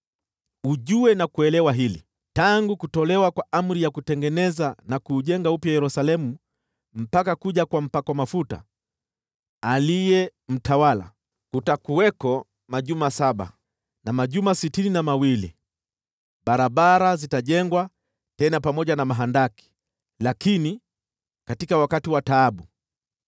“Ujue na kuelewa hili: Tangu kutolewa kwa amri ya kuutengeneza na kuujenga upya Yerusalemu mpaka kuja kwa Mpakwa mafuta, aliye mtawala, kutakuwako majuma saba na majuma sitini na mawili. Barabara zitajengwa tena pamoja na mahandaki, lakini katika wakati wa taabu.